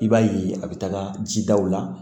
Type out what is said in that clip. I b'a ye a bɛ taga jidaw la